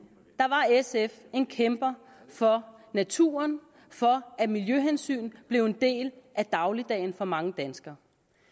var sf en kæmper for naturen for at miljøhensyn blev en del af dagligdagen for mange danskere